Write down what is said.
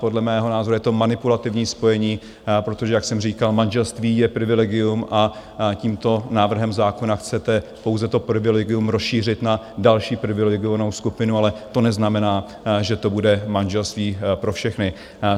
Podle mého názoru je to manipulativní spojení, protože, jak jsem říkal, manželství je privilegium a tímto návrhem zákona chcete pouze to privilegium rozšířit na další privilegovanou skupinu, ale to neznamená, že to bude manželství pro všechny.